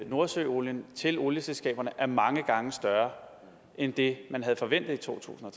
nordsøolien til olieselskaberne er mange gange større end det man havde forventet i to tusind og